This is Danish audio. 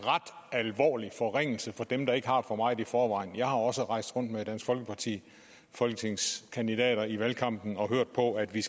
alvorlig forringelse for dem der ikke har for meget i forvejen jeg har også rejst rundt med dansk folkeparti folketingskandidater i valgkampen og hørt på at vi